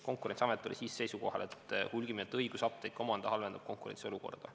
Konkurentsiamet oli siis seisukohal, et hulgimüüjate õigus apteeke omada halvendab konkurentsiolukorda.